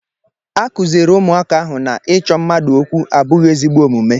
A kụziiri ụmụaka ahụ na ịchọ mmadụ okwu abụghị ezigbo omume.